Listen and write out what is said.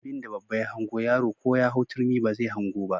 Abinda babba ya hango yaro ko ya hau turmi ba zai hango ba.